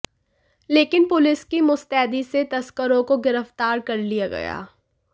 लेकिन पुलिस की मुस्तैदी से तस्करों को गिरफ्तार कर लिया गया